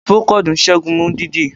Procold n sẹ́gun imú dídí